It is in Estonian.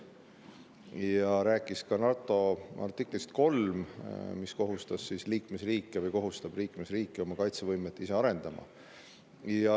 Ta rääkis ka NATO artiklist 3, mis kohustab liikmesriike ise oma kaitsevõimet arendama.